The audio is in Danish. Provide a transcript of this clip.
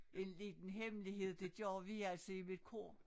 En liten hemmelighed det gør vi altid i mit kor